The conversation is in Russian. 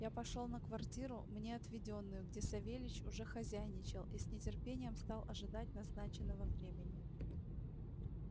я пошёл на квартиру мне отведённую где савельич уже хозяйничал и с нетерпением стал ожидать назначенного времени